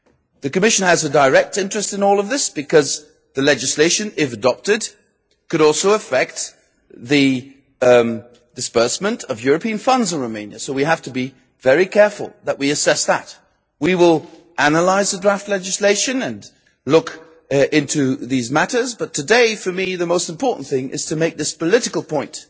The Commission has a direct interest in all of this because the legislation, if it is adopted, could also affect the disbursement of European funds in Romania, so we have to be very careful that we assess that. We will analyse the draft legislation and look into these matters, but today, for me, the most important thing is to make this political point